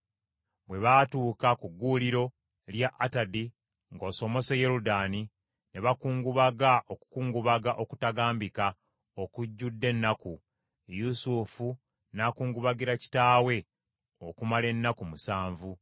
Bwe baatuuka ku gguuliro lya Atadi ng’osomose Yoludaani, ne bakungubaga okukungubaga okutagambika okujjudde ennaku; Yusufu n’akungubagira kitaawe okumala ennaku musanvu.